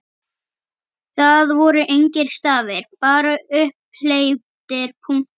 Það voru engir stafir, bara upphleyptir punktar!